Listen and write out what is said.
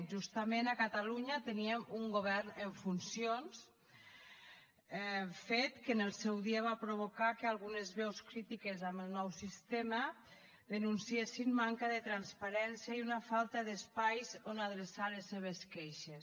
justament a catalunya teníem un govern en funcions fet que en el seu dia va provocar que algunes veus crítiques amb el nou sistema denunciessin manca de transparència i una falta d’espais on adreçar les seves queixes